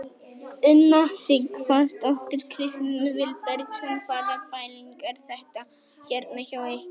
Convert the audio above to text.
Una Sighvatsdóttir: Kristinn Vilbergsson hvaða pæling er þetta hérna hjá ykkur?